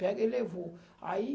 Pega e levou. Aí